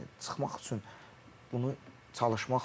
Yəni çıxmaq üçün bunu çalışmaq lazımdır.